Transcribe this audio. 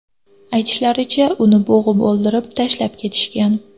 Aytishlaricha, uni bo‘g‘ib o‘ldirib, tashlab ketishgan.